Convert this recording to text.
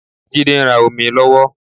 Jídé ń rà òmíì lọ́wọ́.